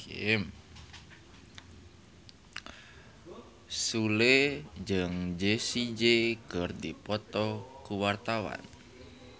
Sule jeung Jessie J keur dipoto ku wartawan